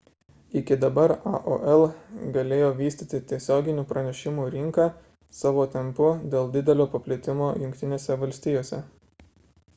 iki dabar aol galėjo vystyti tiesioginių pranešimų rinką savo tempu dėl didelio paplitimo jungtinėse valstijose